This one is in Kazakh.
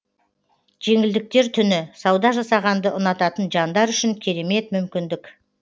жеңілдіктер түні сауда жасағанды ұнататын жандар үшін керемет мүмкіндік